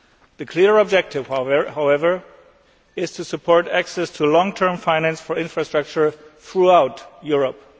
The clear objective, however, is to support access to long term finance for infrastructure throughout Europe.